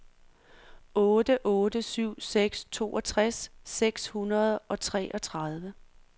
otte otte syv seks toogtres seks hundrede og treogtredive